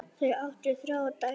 Þau áttu þrjár dætur.